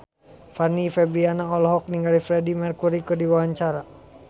Fanny Fabriana olohok ningali Freedie Mercury keur diwawancara